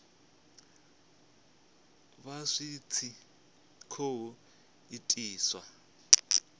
vha zwi tshi khou itiswa